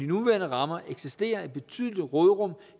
nuværende rammer eksisterer et betydeligt råderum